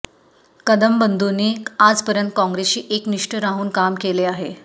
कदम बंधूनी आजपर्यंत काँग्रेसशी एकनिष्ठ राहून काम केले आहे